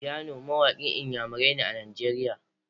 Phyno mawaƙin iyamarai ne a Najeriya.